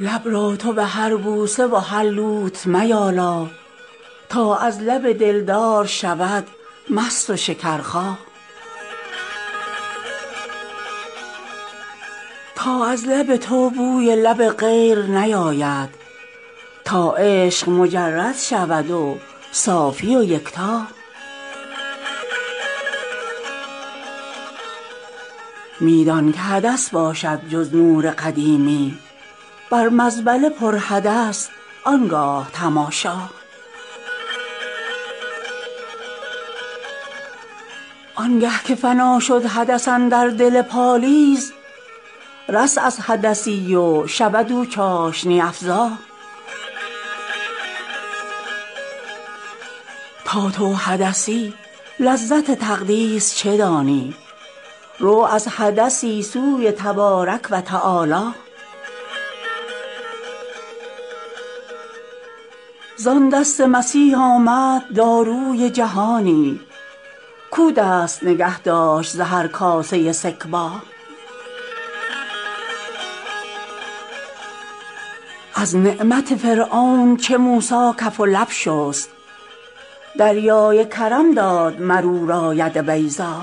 لب را تو به هر بوسه و هر لوت میالا تا از لب دلدار شود مست و شکرخا تا از لب تو بوی لب غیر نیاید تا عشق مجرد شود و صافی و یکتا آن لب که بود کون خری بوسه گه او کی یابد آن لب شکر بوس مسیحا می دان که حدث باشد جز نور قدیمی بر مزبله ی پر حدث آن گاه تماشا آنگه که فنا شد حدث اندر دل پالیز رست از حدثی و شود او چاشنی افزا تا تو حدثی لذت تقدیس چه دانی رو از حدثی سوی تبارک و تعالی زان دست مسیح آمد داروی جهانی کاو دست نگه داشت ز هر کاسه سکبا از نعمت فرعون چو موسی کف و لب شست دریای کرم داد مر او را ید بیضا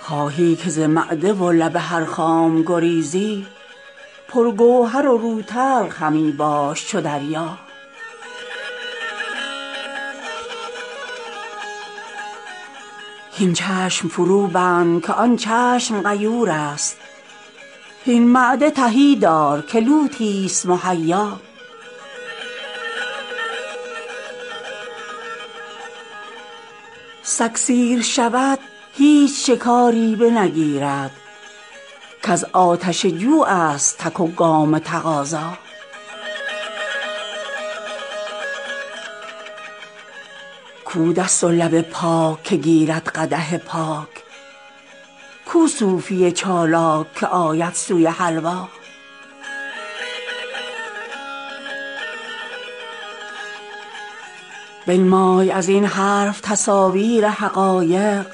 خواهی که ز معده و لب هر خام گریزی پرگوهر و روتلخ همی باش چو دریا هین چشم فروبند که آن چشم غیورست هین معده تهی دار که لوتی ست مهیا سگ سیر شود هیچ شکاری بنگیرد کز آتش جوعست تک و گام تقاضا کو دست و لب پاک که گیرد قدح پاک کو صوفی چالاک که آید سوی حلوا بنمای از این حرف تصاویر حقایق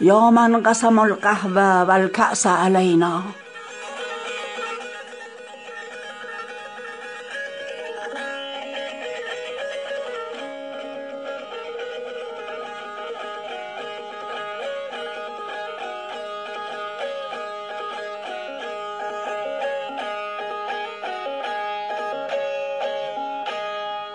یا من قسم القهوة و الکأس علینا